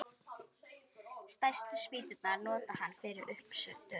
Stærstu spýturnar notar hann fyrir uppistöður.